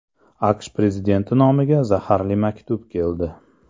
AQSh prezidenti nomiga zaharli maktub keldi.